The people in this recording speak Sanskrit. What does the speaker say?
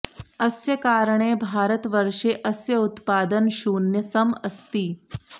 अस्य कारणे भारत वर्षे अस्य उत्पादन शून्यसम अस्ति